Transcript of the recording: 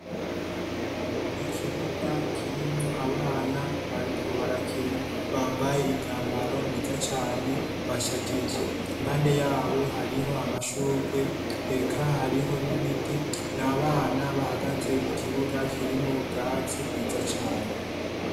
Ikibuga kirimwo abana bariko barakina bambaye imyambaro myiza cane, bashajije. Impande yabo hariho amashurwe ,eka hariho n' ibiti. Ni abana bahagaze mu kibuga kirimwo ubwatsi bwiza cane .